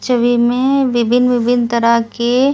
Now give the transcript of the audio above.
विभिन्न विभिन्न तरह के--